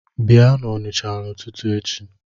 Bịa n’Onisha ụtụtụ echi